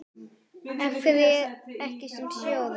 Af hverju ekki sem stjóri?